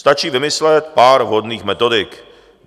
Stačí vymyslet pár vhodných metodik.